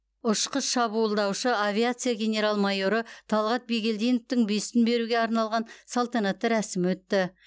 ұшқыш шабуылдаушы авиация генерал майоры талғат бигелдиновтің бюстін беруге арналған салтанатты рәсім өтті